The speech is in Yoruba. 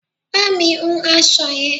Bá mi hun aṣọ yẹn!